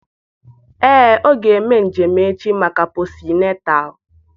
Ee ọ ga-eme njem echi maka posịnetal